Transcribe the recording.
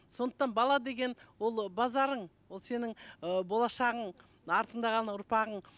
сондықтан бала деген ол базарың ол сенің ыыы болашағың артыңда қалған ұрпағың